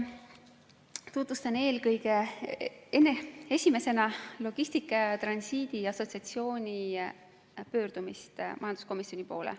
Tutvustan esimesena Logistika ja Transiidi Assotsiatsiooni pöördumist majanduskomisjoni poole.